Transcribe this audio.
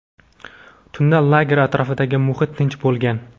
Tunda lager atrofidagi muhit tinch bo‘lgan.